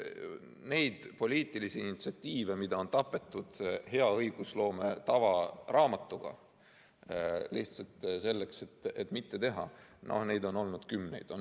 Neid poliitilisi initsiatiive, mis on tapetud hea õigusloome tava raamatuga lihtsalt selleks, et midagi mitte teha, on olnud kümneid.